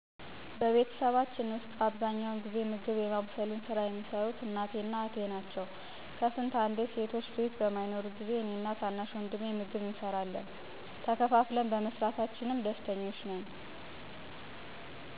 በቤተሰባችን ዉስጥ አብዛኛውን ጊዜ ምግብ የማብሰሉን ሥራ የሚሰሩት እናቴ እና እህቴ ናቸው። ከስንት አንዴ ሴቶች ቤት በማይኖሩ ጊዜ እኔ እና ታናሽ ወንድሜ ምግብ እንሰራለን። ቤት የማፅዳት እንዲሁም ልብስ የማጠብ የመሳሰሉትን ስራዎች ደግሞ በጋራ እንሰራለን። ለምሳሌ በዚኛው ሳምንት አንደኛችን ልብስ ካጠብን በቀጣይ ሳምንት ደግሞ ሌላ ሰው ነው እሚያጥበው። ተከፋፍለን በመስራታችን ደስተኞች ነን።